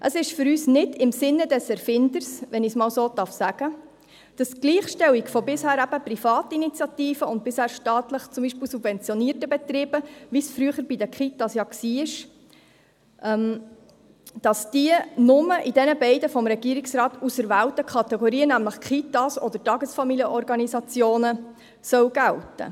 Es ist für uns nicht im Sinne des Erfinders, wenn ich es einmal so sagen darf, dass die Gleichstellung von bisher privaten Initiativen und bisher staatlich subventionierten Betrieben, wie es früher die Kitas waren, nur in jenen beiden vom Regierungsrat auserwählten Kategorien gelten soll, den Kindertagesstätten (Kitas) oder den Tagesfamilienorganisationen (TFO).